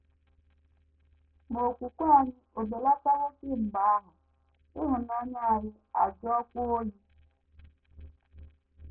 Ma okwukwe anyị ò belatawo kemgbe ahụ, ịhụnanya anyị ajụọkwa oyi?